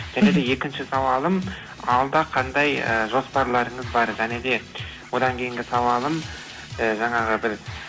және де екінші сауалым алда қандай ы жоспарларыңыз бар және де одан кейінгі сауалым ы жаңағы бір